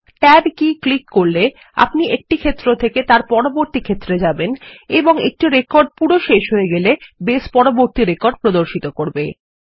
tab কি click করলে আপনি একটি ক্ষেত্র থেকে পরবর্তী ক্ষেত্রে যাবেন এবং একটি রেকর্ড শেষ হয়ে গেলে বেস পরবর্তী রেকর্ড প্রদর্শিত করবে